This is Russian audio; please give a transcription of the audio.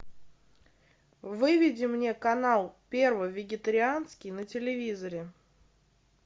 выведи мне канал первый вегетарианский на телевизоре